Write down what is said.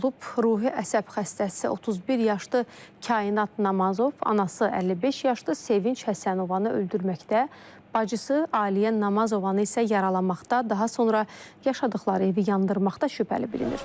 Ruhi əsəb xəstəsi 31 yaşlı Kainat Namazov anası 55 yaşlı Sevinc Həsənovanı öldürməkdə, bacısı Aliyə Namazovanı isə yaralamaqda, daha sonra yaşadıqları evi yandırmaqda şübhəli bilinir.